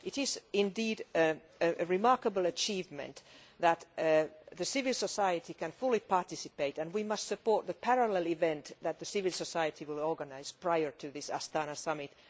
It is indeed a remarkable achievement that civil society can fully participate, and we must support the parallel event that civil society will organise prior to the Astana summit.